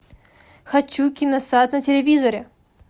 хочу киносад на телевизоре